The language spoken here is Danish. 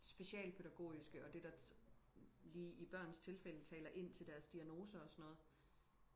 specialpædagogiske og det der lige i børns tilfælde taler ind til deres diagnoser og sådan noget